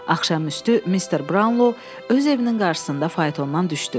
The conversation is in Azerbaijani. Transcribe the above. Axşam üstü mister Brownlow öz evinin qarsısında faytondan düşdü.